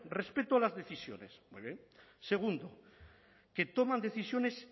respeto a las decisiones muy bien segundo que toman decisiones